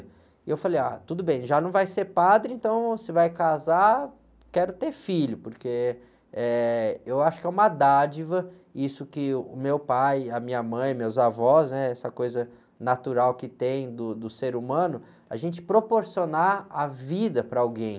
E eu falei, ah, tudo bem, já não vai ser padre, então se vai casar, quero ter filho, porque, eh, eu acho que é uma dádiva isso que o meu pai, a minha mãe, meus avós, né? Essa coisa natural que tem do, do ser humano, a gente proporcionar a vida para alguém.